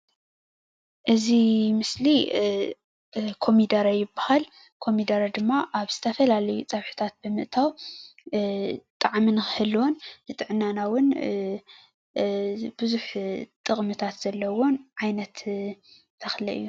እዚ ምስሊ ኮሚደረ ይበሃል። ኮሚደረ ድማ ኣብ ዝተፈላለዩ ፀብሕታት ብምእታዉ ጣዕሚ ንኽህልዎን ንጥዕናና እዉን ብዙሕ ጥቅሚታት ዘለዎን ዓይነት ተክሊ እዩ።